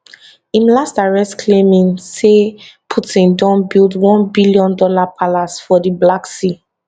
im last arrest claiming say putin don build onebillion dollar palace on di black sea